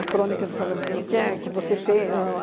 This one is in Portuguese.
A crônica de falando... o que é que você fe ahn